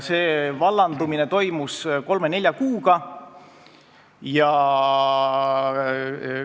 See vallandumine toimus kolme-nelja kuuga.